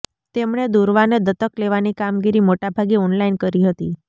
તેમણે દુર્વાને દત્તક લેવાની કામગીરી મોટાભાગે ઓનલાઈન કરી હતી